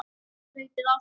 hlaupið á sig?